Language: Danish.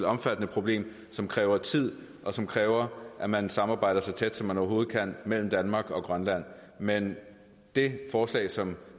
omfattende problem som kræver tid og som kræver at man samarbejder så tæt som man overhovedet kan mellem danmark og grønland men det forslag som